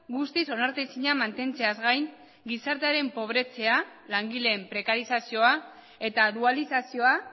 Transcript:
guztiz onartezina mantentzeaz gain gizartearen pobretzea langileen prekarizazioa eta dualizazioa